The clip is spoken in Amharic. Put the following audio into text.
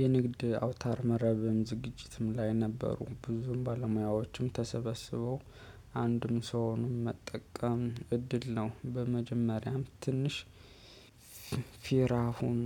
የንግድ አውታር መረብም ዝግጅትም ላይ ነበሩ ብዙም ባለሙያዎችም ተሰበስበው አንድም ሰውንም መጠቀም እድል ነው። በመጀመሪያም ትንሽ ፊራሁን።